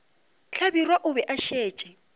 hlabirwa o be a šetše